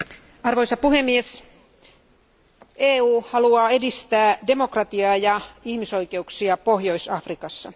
Arvoisa puhemies, EU haluaa edistää demokratiaa ja ihmisoikeuksia Pohjois Afrikassa.